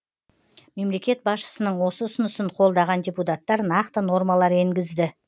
мемлекет басшысының осы ұсынысын қолдаған депутаттар нақты нормалар енгізді